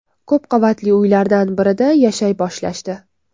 Ko‘p qavatli uylardan birida yashay boshlashdi.